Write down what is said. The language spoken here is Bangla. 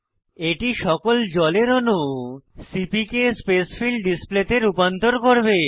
এটি সকল জলের অনু সিপিকে স্পেসফিল ডিসপ্লে তে রূপান্তর করবে